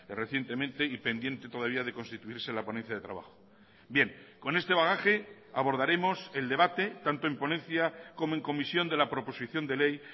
recientemente y pendiente todavía de constituirse la ponencia de trabajo bien con este bagaje abordaremos el debate tanto en ponencia como en comisión de la proposición de ley